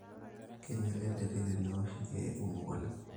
keinyala enterit tenewoshi ilkiek kumok oleng